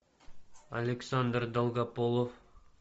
александр долгополов